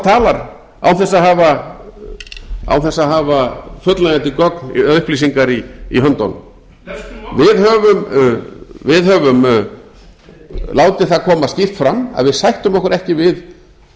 talar og talar án þess að hafa fullnægjandi gögn eða upplýsingar í höndunum við höfum látið það koma skýrt fram að við sættum okkur ekki við